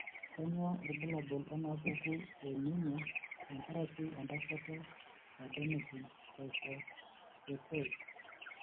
Kainyio irbulabul onaapuku eanemia tenkaraki entasato eAdenosine triphosphatase?